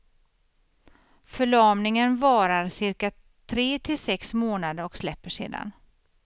Förlamningen varar cirka tre till sex månader och släpper sedan.